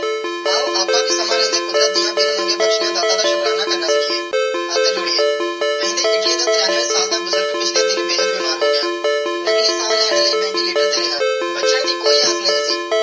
ਆਓ ਅੱਪਾ ਵੀ ਸਮੇ ਰੇਂਦੇ ਕੁਦਰਤ ਦੀਆ ਬਿਨ ਮੰਗੇ ਬਖਸ਼ਿਆ ਦਾਤਾ ਦਾ ਸ਼ੁਕਰਾਨਾ ਕਰਨਾ ਸਿਖੀਏ ਹੱਥ ਜੋੜੀਏ ਕੇਂਦੀ ਇਟਲੀ ਦਾ ਤੇਰੀਆਂਵੇ ਸਾਲ ਦਾ ਬੁਜ਼ਰਗ ਪਿਛਲੇ ਦਿਨ ਬੇਹੱਦ ਬਿਮਾਰ ਹੋ ਗਿਆ ਨਕਲੀ ਸਾਹ ਲੈਣ ਲਾਇ ventilator ਤੇ ਹੈਗਾ ਬਚਨ ਦੇ ਕੋਈ ਆਗਿਆ ਨਾਈ ਸੀ.